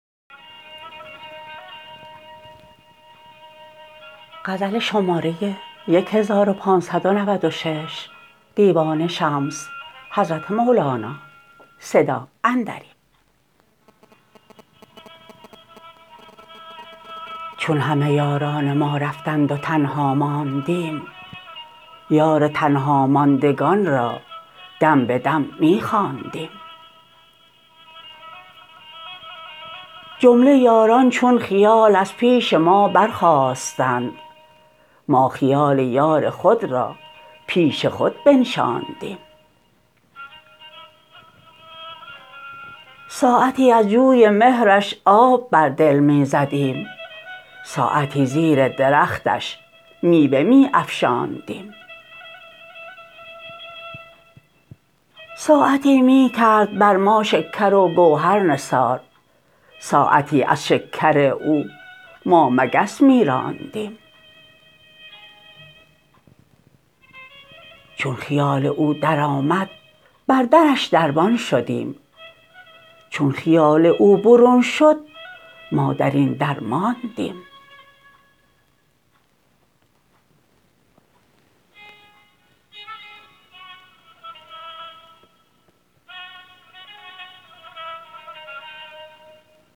چون همه یاران ما رفتند و تنها ماندیم یار تنهاماندگان را دم به دم می خواندیم جمله یاران چون خیال از پیش ما برخاستند ما خیال یار خود را پیش خود بنشاندیم ساعتی از جوی مهرش آب بر دل می زدیم ساعتی زیر درختش میوه می افشاندیم ساعتی می کرد بر ما شکر و گوهر نثار ساعتی از شکر او ما مگس می راندیم چون خیال او درآمد بر درش دربان شدیم چون خیال او برون شد ما در این درماندیم